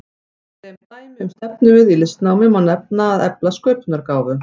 Sem dæmi um stefnumið í listnámi má nefna að efla sköpunargáfu.